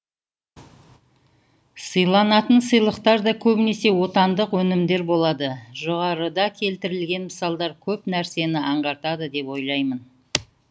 сыйланатын сыйлықтар да көбінесе отандық өнімдер болады жоғарыда келтірілген мысалдар көп нәрсені аңғартады деп ойлаймын